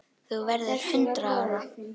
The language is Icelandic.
Þú verður hundrað ára.